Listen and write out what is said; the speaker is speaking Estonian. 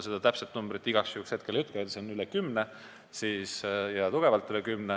Ma täpset numbrit igaks juhuks ei ütle, aga neid on tugevalt üle kümne.